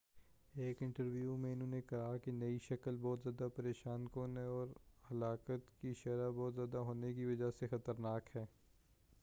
ایک انٹرویو میں انہوں نے کہا کہ نئی شکل بہت زیادہ پریشان کن ہے اور ہلاکت کی شرح بہت زیادہ ہونے کی وجہ سے زیادہ خطرناک ہے